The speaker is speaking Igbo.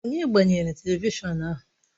Onye gbanyere televishọn ahụ?